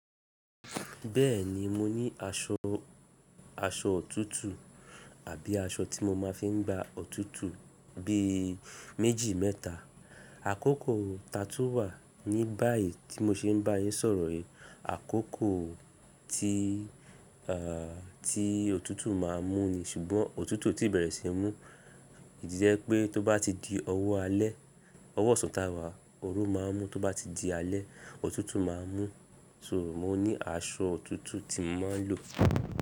Bẹ́ẹ̀ni mo ní aṣọ, aṣọ òtútù àbí aṣọ tí mo máa fi ń gba òtútù bí méjì mẹ́ta. Àkókò tatún wà ní báyìí tí mo ṣe ń bá yín sọ̀rọ̀ yìí, àkókò tí òtútù máa mú ni ṣùgbọ́n òtútù ò tí bẹ̀rẹ̀ sí mú, ìdí jẹ́ pé tó bá ti di ọwọ́ alẹ́, ọwọ́ osan taa wà, oru máa mú tó bá ti di alẹ́, òtútù máa mú. So mo ní aṣọ òtútù tí mo máa ń lò.